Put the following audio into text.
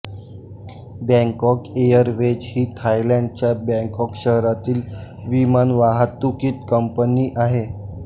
Bangkok Airways ही थायलंडच्या Bangkok शहरातील विमानवाहतूक कंपनी आहे